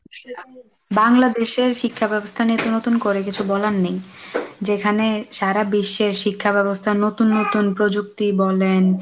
বাংলাদেশের শিক্ষা ব্যবস্থা নিয়ে তো নতুন করে কিছু বলার নেই যেখানে সারা বিশ্বের শিক্ষাব্যবস্থার নতুন নতুন প্রযুক্তি বলেন,